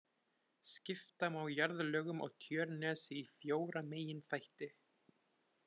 Skipta má jarðlögum á Tjörnesi í fjóra meginþætti.